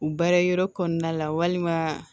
U baara yɔrɔ kɔnɔna la walima